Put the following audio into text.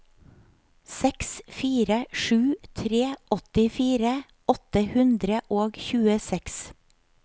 seks fire sju tre åttifire åtte hundre og tjueseks